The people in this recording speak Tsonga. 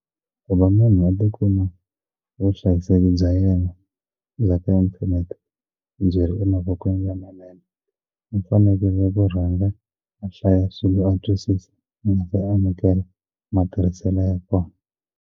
Ku va munhu a tikuma vuhlayiseki bya yena bya ka inthanete byiri emavokweni lamanene i fanekele Ku rhanga a hlaya swilo a twisisa ku va se a amukela matirhiselo ya kona.